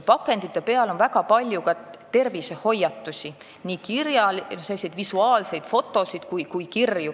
Pakendite peal on ka tervist puudutavaid hoiatusi, nii visuaalselt mõjuvaid fotosid kui ka teksti.